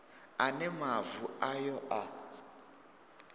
a ne mavu ayo a